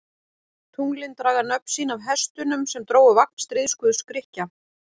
Tunglin draga nöfn sín af hestunum sem drógu vagn stríðsguðs Grikkja.